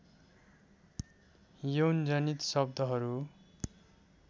यौनजनित शब्दहरू